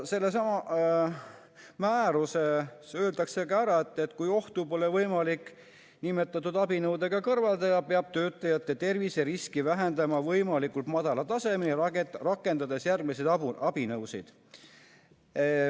Sellessamas määruses öeldakse ka, et kui ohtu pole võimalik nimetatud abinõudega kõrvaldada, peab töötajate terviseriski vähendama võimalikult madala tasemeni, rakendades järgmisi abinõusid.